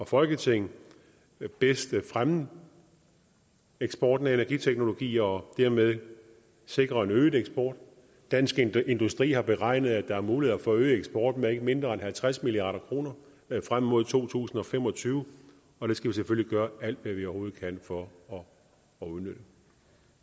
folketing bedst fremme eksporten af energiteknologi og dermed sikre en øget eksport dansk industri har beregnet at der er muligheder for at øge eksporten med ikke mindre end halvtreds milliard kroner frem mod to tusind og fem og tyve og det skal vi selvfølgelig gøre alt hvad vi overhovedet kan for at udnytte